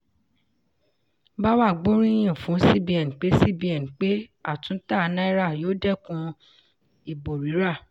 bawa gbóríyìn fún cbn pé cbn pé àtúntà náírà yóò dẹ́kun ìbò rírà.